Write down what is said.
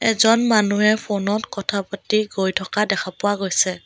এজন মানুহে ফোনত কথা পাতি গৈ থকা দেখা পোৱা গৈছে।